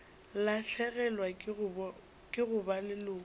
lahlegelwa ke go ba leloko